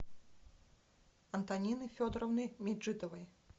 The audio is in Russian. антонины федоровны меджидовой